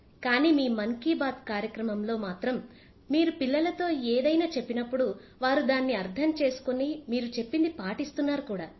కానీ మీ మన్ కీ బాత్ కార్యక్రమం లో మాత్రం మీరు పిల్లలతో ఏదైనా చెప్పినప్పుడు వారు దాన్ని అర్థం చేసుకుని మీరు చెప్పింది పాటిస్తున్నారు కూడా